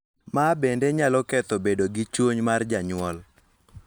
Ma bende nyalo ketho bedo gi chuny mar janyuol .